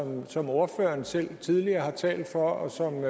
som ordføreren selv tidligere har talt for og som